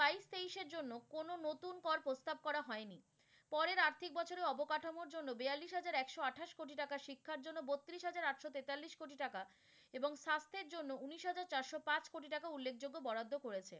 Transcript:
হিসাব করা হয়নি। পরের আর্থিক বছরের অবকাঠামোর জন্য বিয়াল্লিশ হাজার একশো আঠাশ কোটি টাকা, শিক্ষার জন্য বত্রিশ হাজার আটশো তেতাল্লিশ কোটি টাকা এবং স্বাস্থ্য়ের জন্য উনিশ হাজার চারশো পাঁচ কোটি টাকা উল্লেখযোগ্য বরাদ্দ করেছে।